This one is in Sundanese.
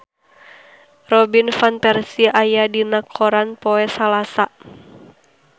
Robin Van Persie aya dina koran poe Salasa